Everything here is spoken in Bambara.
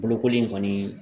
Bolokoli in kɔni